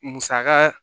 Musaka